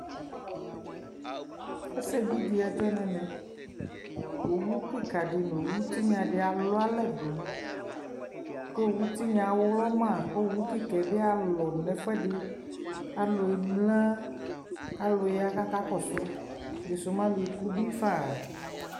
ɛsɛ bi di adzɔ nʋ ɛmɛ, ɔwʋkikaa di nʋ ɔwʋ tinya di alʋ alɛ dʋ kʋɔwʋtinya awlɔma, kʋ ɔwʋ kikaa bi alɔdʋ nʋ ɛƒʋɛdi, alʋ ɛmla, alʋ ya kʋ akakɔsʋ ɛdisʋ mɛ alʋɛkʋ bi ƒaaa